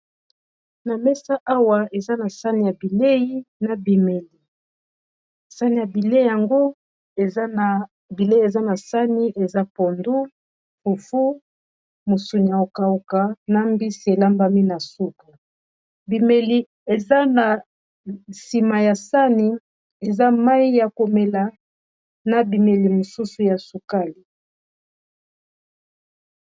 na mesa awa eza na sani ya bilei na sani ya bilei yango bilei eza na sani eza pondu fufu musuni ya kokauka na mbisi elambami na suka eza na nsima ya sani eza mai ya komela na biloko mususu ya komela ya sukali